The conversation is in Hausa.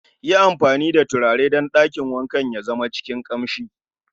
yi amfani da turaren dan dakin wanka ya zama cikin kamshi